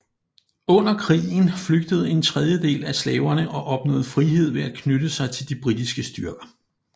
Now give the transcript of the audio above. Under krigen flygtede en tredjedel af slaverne og opnåede frihed ved at knytte sig til de britiske styrker